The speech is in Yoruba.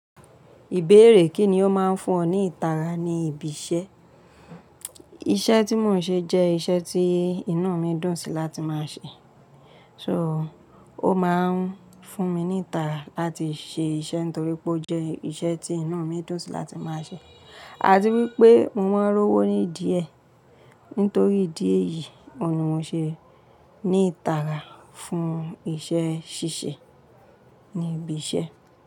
Ìbéèrè kíni ó máa ń fún ọ ní ìtara ní ibi iṣẹ́? Iṣẹ́ tí mò ń ṣe jẹ́ iṣẹ́ tí inu mi dùn sí láti máa ṣe. So, ó máa ń fún mi ní ìtara láti ṣe iṣẹ́ nítorí pé ó jẹ́ iṣẹ́ tí iná mi dùn sí láti máa ṣe. Àtíwípé mo wá rówó ní díẹ̀ nítorí díè yìí, ọ̀nà wo ṣe ní ìtara fún iṣẹ́ ṣíṣe ní ibi iṣẹ́?